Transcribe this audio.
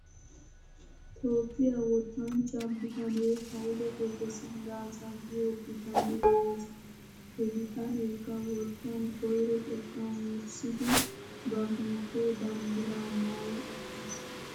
Toophphiyaa wottanchcha bitanee hayle gebre silaasa giyoo bitanee de'es. He bitaneekka wottan koyro xekkan wurssidi ba biittee banddiraa maayi uttis .